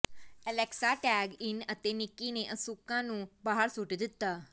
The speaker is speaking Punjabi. ਅਲੈਕਸਾ ਟੈਗ ਇਨ ਅਤੇ ਨਿੱਕੀ ਨੇ ਅਸੂਕਾ ਨੂੰ ਬਾਹਰ ਸੁੱਟ ਦਿੱਤਾ